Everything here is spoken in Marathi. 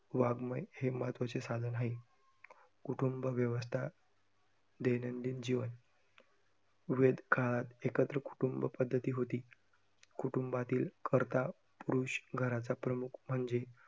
वाङमय हे महत्वाचे साधन आहे. कुटुंब व्यवस्था दैनंदिन जीवन वेद काळात एकत्र कुटुंब पद्धती होती. कुटुंबातील करता पुरुष घराचा प्रमुख म्हणजे